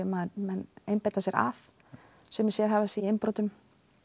menn einbeita sér að sumir sérhæfa sig í innbrotum